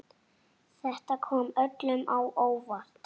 Þetta kom öllum á óvart.